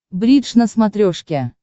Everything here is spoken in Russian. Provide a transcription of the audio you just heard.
бридж на смотрешке